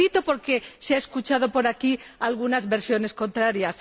Lo repito porque se han escuchado por aquí algunas versiones contrarias.